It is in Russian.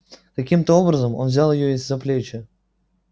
каким то образом он взял её за плечи